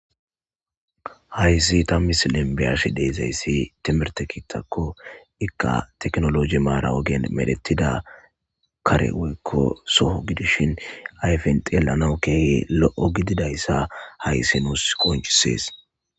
hayssi ta misilenbiyashi deezayssi temerte kiittakko ikka teknoloji maara ogen medetida karewikko soho gidishin ayfen xeelanawu keeh lo7o gididayssa hayssi nuus qonchisees